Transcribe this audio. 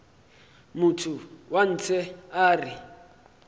motho wa ntshe a re